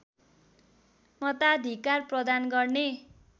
मताधिकार प्रदान गर्ने